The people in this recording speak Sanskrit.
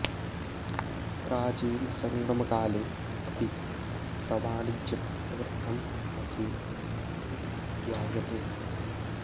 प्राचीनसङ्गमकाले अपि अत्र वाणिज्यं प्रवृद्धम् आसीत् इति ज्ञायते